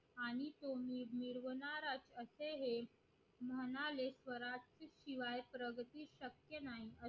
असे हे म्हणाले स्वराज्य शिवाय प्रगती शक्य नाही